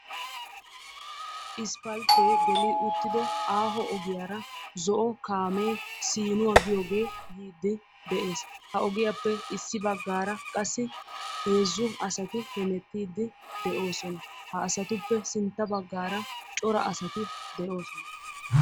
issipalte gelido kaame aaho ogiyara zo"o kaame siinuwa giyoge yidi deesi ha ogiyappe issi bagara qassi heezzu assati hemetidi de"oosona.